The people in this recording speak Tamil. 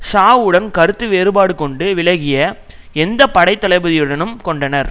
ஷாவுடன் கருத்து வேறுபாடு கொண்டு விலகிய எந்த படைத்தளபதியுடனும் கொண்டனர்